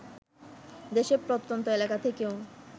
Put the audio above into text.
দেশের প্রত্যন্ত এলাকা থেকেও